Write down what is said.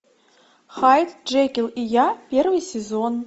хайд джекил и я первый сезон